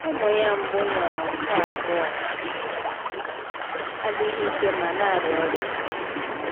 Ụmụ ya mbụ nwụrụ, nke abụọ adịghị ike ma na-arịa ọrịa.